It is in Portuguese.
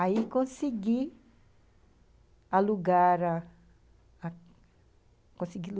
Aí consegui alugar a a